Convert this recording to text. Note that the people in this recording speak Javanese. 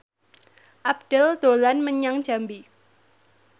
Abdel dolan menyang Jambi